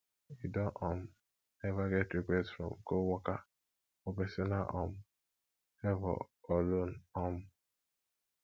you don um ever get request request from coworker for personal um favor or loan um